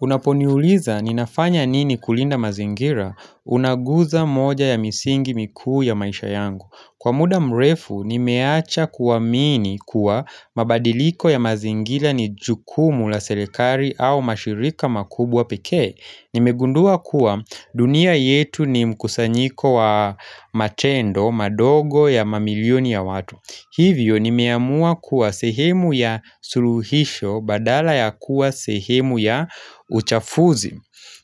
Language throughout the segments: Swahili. Unaponiuliza ninafanya nini kulinda mazingira unaguza moja ya misingi mikuu ya maisha yangu. Kwa muda mrefu nimeacha kuamini kuwa mabadiliko ya mazingira ni jukumu la serikali au mashirika makubwa pekee. Nimegundua kuwa dunia yetu ni mkusanyiko wa matendo, madogo ya mamilioni ya watu, Hivyo nimeamua kuwa sehemu ya suluhisho badala ya kuwa sehemu ya uchafuzi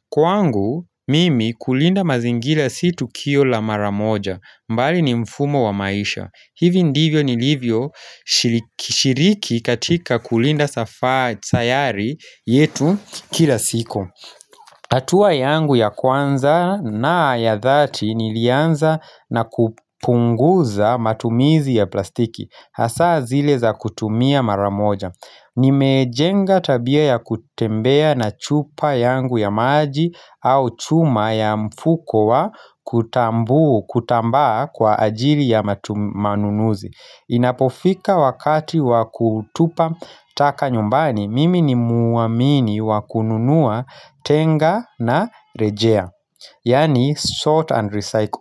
Kwangu mimi kulinda mazingira si tukio la maramoja bali ni mfumo wa maisha. Hivyo ndivyo nilivyo shiriki katika kulinda sayari yetu kila siku hatua yangu ya kwanza na ya dhati nilianza na kupunguza matumizi ya plastiki hasaa zile za kutumia mara moja Nimejenga tabia ya kutembea na chupa yangu ya maji au chuma ya mfuko wa kutambaa kwa ajili ya manunuzi Inapofika wakati wa kutupa taka nyumbani mimi ni muamini wa kununua tenga na rejea Yani sort and recycle.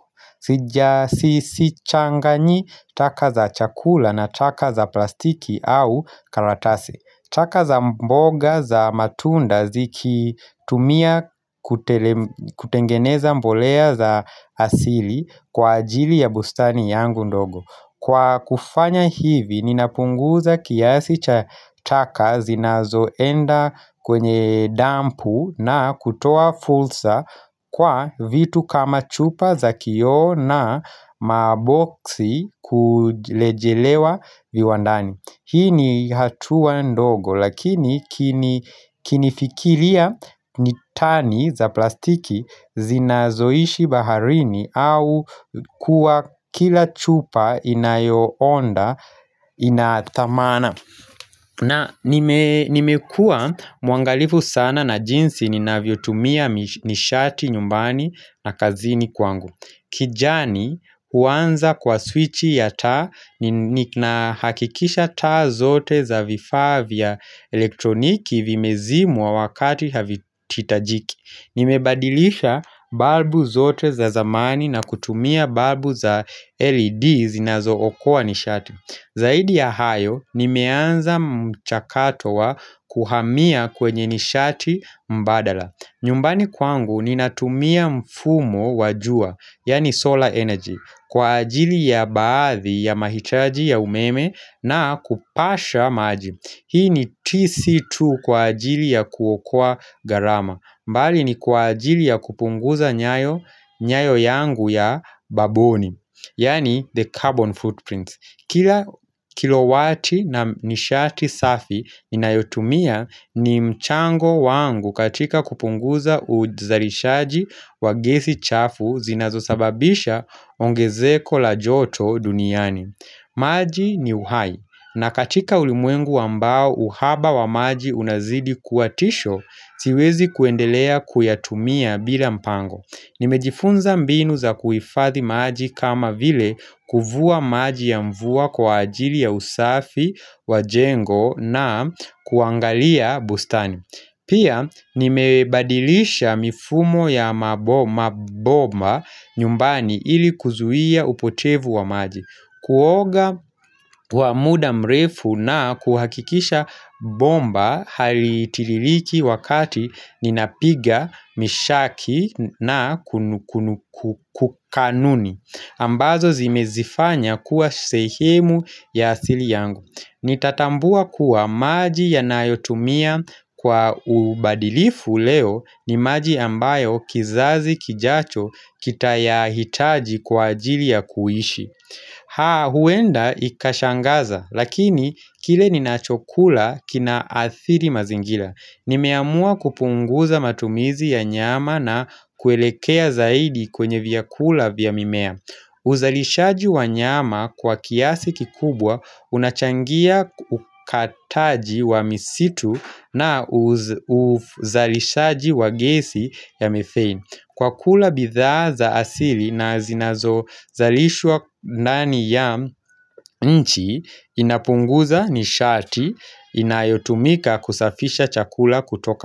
Sichanganyi taka za chakula na taka za plastiki au karatasi. Taka za mboga za matunda zikitumia kutengeneza mbolea za asili kwa ajili ya bustani yangu ndogo Kwa kufanya hivi ninapunguza kiasi cha taka zinazoenda kwenye dampu na kutoa fursa kwa vitu kama chupa za kioo na maboksi kurejelewa viwandani. Hii ni hatua ndogo lakini kinifikiria ni tani za plastiki zinazoishi baharini au kuwa kila chupa inayoonda inathamana. Na nimekuwa mwangalifu sana na jinsi ninavyotumia nishati nyumbani na kazini kwangu. Kijani huanza kwa swichi ya taa nahakikisha taa zote za vifavyaa vya elektroniki vimezimwa wakati havihitajiki. Nimebadilisha balbu zote za zamani na kutumia balbu za LED zinazookoa nishati. Zaidi ya hayo nimeanza mchakato wa kuhamia kwenye nishati mbadala nyumbani kwangu ninatumia mfumo wa jua, yaani solar energy, kwa ajili ya baadhi ya mahitaji ya umeme na kupasha maji Hii ni TC2 kwa ajili ya kuokoa gharama, mbali ni kwa ajili ya kupunguza nyayo nyayo yangu ya babuni, yaani the carbon footprints. Kila kilowati na nishati safi ninayotumia ni mchango wangu katika kupunguza uzalishaji wa gesi chafu zinazosababisha ongezeko la joto duniani. Maji ni uhai na katika ulimwengu ambao uhaba wa maji unazidi kuwa tisho siwezi kuendelea kuyatumia bila mpango. Nimejifunza mbinu za kuhifadhi maji kama vile kuvua maji ya mvua kwa ajili ya usafi wa jengo na kuangalia bustani Pia nimebadilisha mifumo ya mabomba nyumbani ili kuzuia upotevu wa maji. Kuoga wa muda mrefu na kuhakikisha bomba halitiririki wakati ninapiga mswaki na kukanuni ambazo zimezifanya kuwa sehemu ya asili yangu. Nitatambua kuwa maji yanayotumia kwa ubadilifu leo ni maji ambayo kizazi kijacho kitayahitaji kwa ajili ya kuishi huenda ikashangaza lakini kile ninachokula kina athiri mazingira. Nimeamua kupunguza matumizi ya nyama na kuelekea zaidi kwenye vyakula vya mimea uzalishaji wa nyama kwa kiasi kikubwa unachangia ukataji wa misitu na uzalishaji wa gesi ya methane. Kwa kula bidhaa za asili na zinazozalishwa ndani ya nchi inapunguza nishati inayotumika kusafisha chakula kutoka.